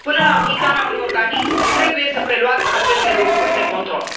Până la înființarea unui organism, trebuie să preluați aceste lucruri, de control.